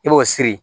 I b'o siri